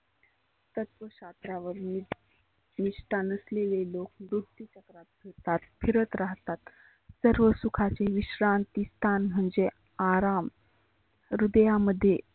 तत्व शास्रा निष्टा लोक खुप फिरत राहतात. सर्व सुखाची विश्रांती स्थान म्हणजे आराम. हृदयामध्ये